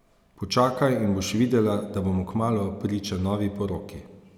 Počakaj in boš videla, da bomo kmalu priča novi poroki.